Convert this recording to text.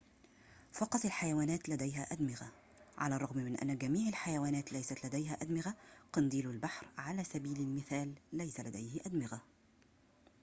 فقط الحيوانات لديها أدمغة على الرغم من أن جميع الحيوانات ليست لديها أدمغة؛ قنديل البحر، على سبيل المثال، ليس لديه أدمغة